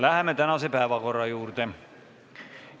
Läheme tänase päevakorra juurde.